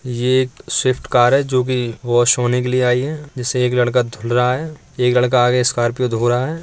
ये एक Swift car है जोकि वॉश होने के लिए आई है जिसे एक लड़का धूल रहा है। एक लड़का आगे स्कॉर्पियो धो रहा है।